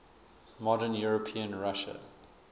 modern european russia